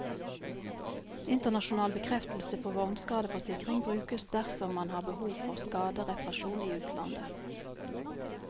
Internasjonal bekreftelse på vognskadeforsikring brukes dersom man har behov for skadereparasjon i utlandet.